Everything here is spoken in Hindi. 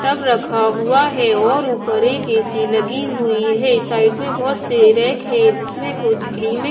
टब रखा हुआ है और ऊपर एक ऐ_सी लगी हुई है साइड में बहुत से रैक है जिसमें कुछ क्रीम ।